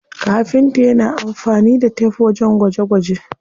Kafinta yana amfani da tef wajen gwaje gwaje.